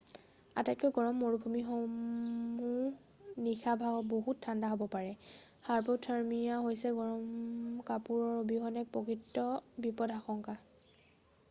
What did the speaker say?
আটাইতকৈ গৰম মৰুভূমিসমূহও নিশা বহুত ঠাণ্ডা হ'ব পাৰে৷ হাইপ'থাৰ্মিয়া হৈছে গৰম কাপোৰৰ অবিহনে এক প্ৰকৃত বিপদাশংকা৷